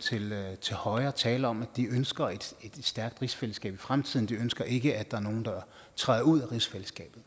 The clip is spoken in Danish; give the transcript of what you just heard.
til højre tale om at de ønsker et stærkt rigsfællesskab i fremtiden de ønsker ikke at der er nogen der træder ud af rigsfællesskabet